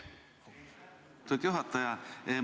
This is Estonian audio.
Austatud juhataja!